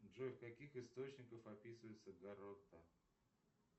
джой в каких источниках описывается горотта